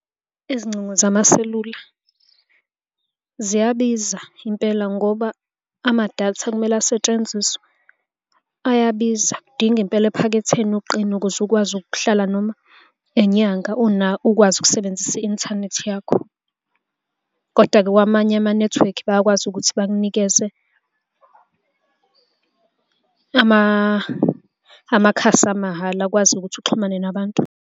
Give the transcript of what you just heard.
Izingcingo zamaselula ziyabiza impela ngoba amadata ekumele asetshenziswe ayabiza. Kudinga impela ephaketheni uqine ukuze ukwazi ukuhlala noma inyanga ukwazi ukusebenzisa i-inthanethi yakho koda-ke kwamanye amanethiwekhi bayakwazi ukuthi bakunikeze amakhasi amahhala akwazi ukuthi uxhumane nabantu.